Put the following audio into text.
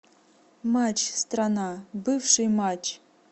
матч страна бывший матч